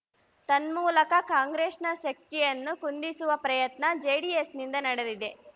ತನ್ಮೂಲಕ ಕಾಂಗ್ರೆಸ್‌ನ ಶಕ್ತಿಯನ್ನು ಕುಂದಿಸುವ ಪ್ರಯತ್ನ ಜೆಡಿಎಸ್‌ನಿಂದ ನಡೆದಿದೆ